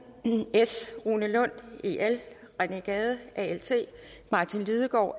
rune lund rené gade martin lidegaard